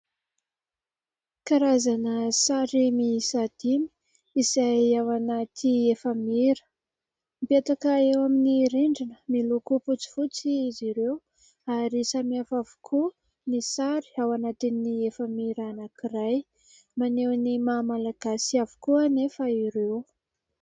Karazana sary mihisa dimy izay ao anaty efa-mira, mipetaka eo amin'ny rindrina miloko fotsifotsy izy ireo ary samihafa avokoa ny sary anatin'ny efa-mira anankiray, maneho ny maha malagasy avokoa anefa ireo.